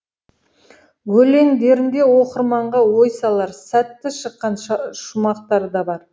өлеңдерінде оқырманға ой салар сәтті шыққан шумақтар да бар